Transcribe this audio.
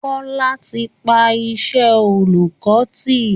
Kọlá ti pa iṣẹ́ oolùkọ́ tì